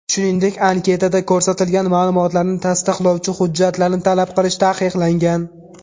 Shuningdek, anketada ko‘rsatilgan ma’lumotlarni tasdiqlovchi hujjatlarni talab qilish taqiqlangan.